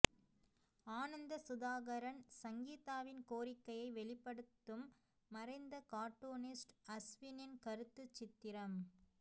ஆனந்தசுதாகரன் சங்கீதாவின் கோரிக்கையை வெளிப்படுத்தும் மறைந்த காட்டூனிஸ்ட் அஸ்வினின் கருத்துச் சித்திரம்